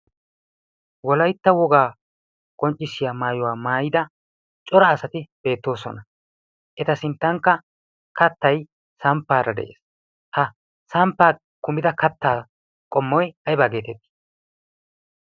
Wolaytta wogga qoncissiya maayuwaa maayidda cora asatti beettosona, etta sinttanikka kaattay samppara dees, ha samppa kumidda kaatta qommoy ayibba getetti?